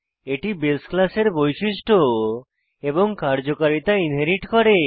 এটি বাসে ক্লাসের বৈশিষ্ট্য এবং কার্যকারিতা ইনহেরিট করে